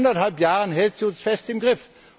Und seit eineinhalb Jahren hält sie uns fest im Griff.